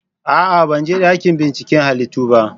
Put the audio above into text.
A'a! Ban je dakin binciken halittu ba.